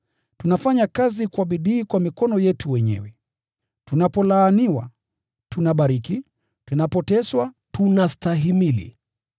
Tunafanya kazi kwa bidii kwa mikono yetu wenyewe. Tunapolaaniwa, tunabariki, tunapoteswa, tunastahimili,